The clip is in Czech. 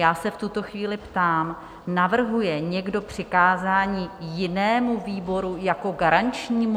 Já se v tuto chvíli ptám, navrhuje někdo přikázání jinému výboru jako garančnímu?